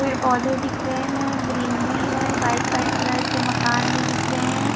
पेड़ पौधे दिख रहे हैं ग्रीनरी है वाइट वाइट कलर से मकान भी दिख रहे हैं।